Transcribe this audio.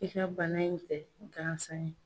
I ka bana in tɛ gansan ye.